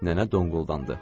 Nənə donquldandı.